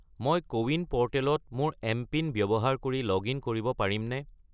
মই কোৱিন প'ৰ্টেলত মোৰ এমপিন ব্যৱহাৰ কৰি লগ-ইন কৰিব পাৰিমনে?